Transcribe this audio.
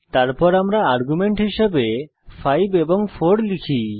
তারপর আমরা আর্গুমেন্ট হিসাবে 5 এবং 4 লিখি